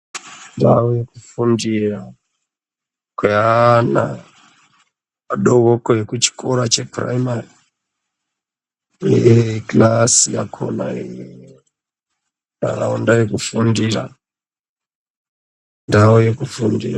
Ndau yekufundira kweaana adoko, kuchikora chephuraimari, kilasi yakhonaeee nharaunda yekufundira, ndau yekufundira.